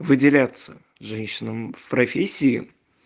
выделяться женщинам в профессии